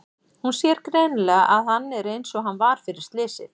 Hún sér greinilega að hann er einsog hann var fyrir slysið.